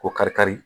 Ko kari kari